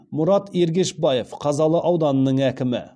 мұрат ергешбаев қазалы ауданының әкімі